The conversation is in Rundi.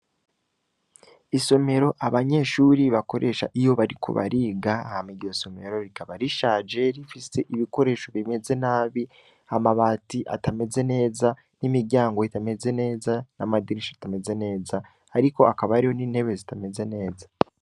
Isomero abanyeshuri bakoresha iyo bariko bariga, hama iryo somero rikaba rishaje rifise ibikoresho bimeze nabi, amabati atameze neza, n'imiryango itameze neza, n'amadirisha atameze neza, ariko hakaba hariyo n'intebe zitameze neza.